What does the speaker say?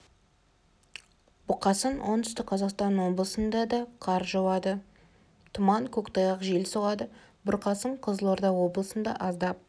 бұқасын оңтүстік қазақстан облысында да қар жауады тұман көктайғақ жел соғады бұрқасын қызылорда облысында аздап